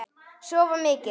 Sofa mikið.